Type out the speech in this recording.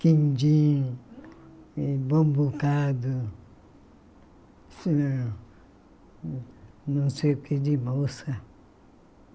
Quindim, eh bambucado, eh não sei o que de moça.